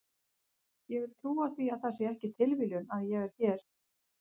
Ég vil trúa því að það sé ekki tilviljun að ég er hér.